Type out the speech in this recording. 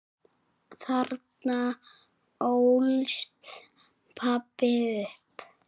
Þarna ólst pabbi upp.